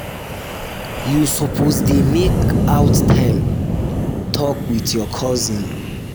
you suppose dey dey make out time tok wit your cousin dem.